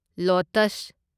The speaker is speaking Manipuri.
ꯂꯣꯇꯁ